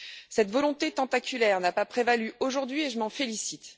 Cette volonté tentaculaire n'a pas prévalu aujourd'hui et je m'en félicite.